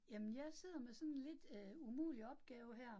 Jamen jeg sidder med sådan en lidt øh umulig opgave her